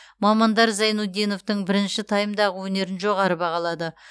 мамандар зайнутдиновтың бірінші таймдағы өнерін жоғары бағалады